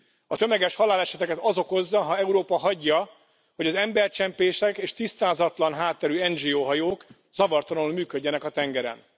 A tömeges haláleseteket az okozza, ha Európa hagyja, hogy az embercsempészek és tisztázatlan hátterű NGO hajók zavartalanul működjenek a tengeren.